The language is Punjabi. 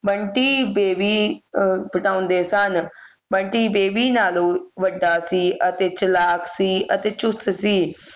ਬੰਟੀ ਬੇਬੀ ਅਹ ਬਟਾਉਂਦੇ ਸਨ ਬੰਟੀ ਬੇਬੀ ਨਾਲੋਂ ਵੱਡਾ ਸੀ ਅਤੇ ਚਲਾਕ ਸੀ ਅਤੇ ਚੁਸਤ ਸੀ